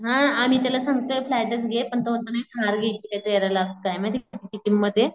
हा आम्ही त्याला सांगतोय फ्लॅटच घे पण तो म्हणतो नाही कार घ्यायची काय तेरा लाख का काय त्याची किंमते.